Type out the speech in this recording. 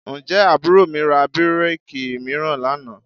Ǹjẹ́ àbúrò mi ra bíréèkì mìíràn lánàá?